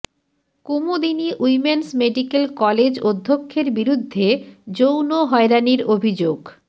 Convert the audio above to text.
Kumudini women's medical college অধ্যক্ষের বিরুদ্ধে যৌন হয়রানির অভিযোগ